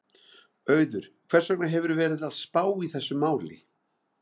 Auður, hvers vegna hefurðu verið að spá í þessu máli?